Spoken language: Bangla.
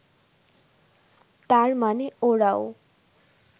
তার মানে ওরাও